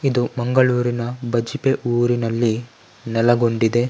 ಇದು ಮಂಗಳೂರಿನ ಬಜ್ಪೆ ಊರಿನಲ್ಲಿ ನೆಲಗೊಂಡಿದೆ .